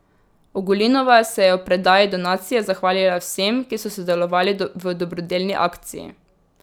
Ogulinova se je ob predaji donacije zahvalila vsem, ki so sodelovali v dobrodelni akciji.